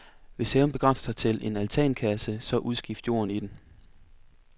Hvis haven begrænser sig til en altankasse, så udskift jorden i den.